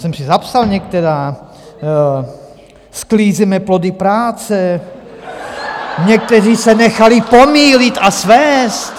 Jsem si zapsal některá: sklízíme plody práce , někteří se nechali pomýlit a svést .